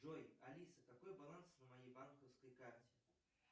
джой алиса какой баланс на моей банковской карте